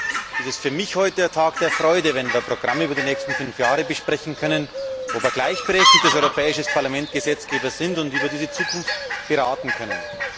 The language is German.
Deswegen ist heute für mich ein Tag der Freude, wenn wir Programme für die nächsten fünf Jahre besprechen können, wo wir als gleichberechtigtes Europäisches Parlament Gesetzgeber sind und über diese Zukunft beraten können.